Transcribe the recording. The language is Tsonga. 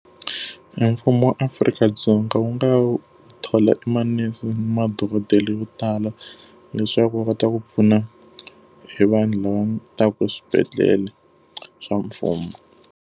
Emfumo wa Afrika-Dzonga wu nga thola i manese na madokodela yo tala, leswaku va kota ku pfuna hi vanhu lava taka swibedhlele swa mfumo.